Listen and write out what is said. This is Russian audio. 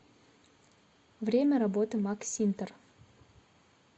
время работы максинтер